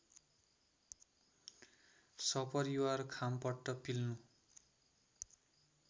सपरिवार खामपट्ट पिल्नु